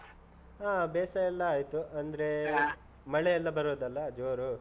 ಹಾ ಬೇಸಾಯ ಎಲ್ಲ ಆಯ್ತು. ಅಂದ್ರೆ . ಮಳೆಯೆಲ್ಲ ಬರೋದಲ್ಲ, ಜೋರು?